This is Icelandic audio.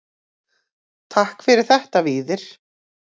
Takk fyrir þetta Víðir.